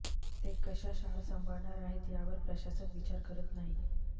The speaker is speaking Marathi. ते कशा शाळा सांभाळणार आहेत यावर प्रशासन विचार करत नाही